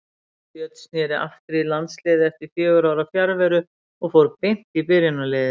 Björn snéri aftur í landsliðið eftir fjögurra ára fjarveru og fór beint í byrjunarliðið.